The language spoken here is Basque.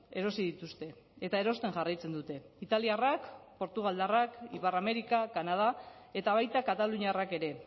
erosi dituzte eta erosten jarraitzen dute italiarrak portugaldarrak ipar amerika kanada eta baita kataluniarrak ere